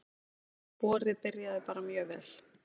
Vorið byrjaði bara mjög vel.